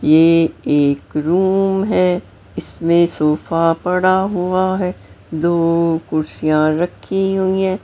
ये एक रूम है इसमें सोफा पड़ा हुआ है दो कुर्सियां रखी हुई है।